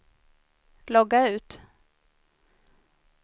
logga ut